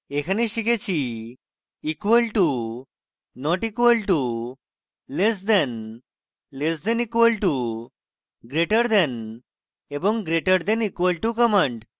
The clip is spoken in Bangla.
এখানে শিখেছি